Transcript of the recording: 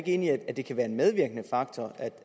enig i at det kan være en medvirkende faktor